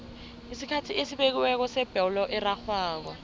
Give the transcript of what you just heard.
isikhathi esibekiweko sebholo erarhwako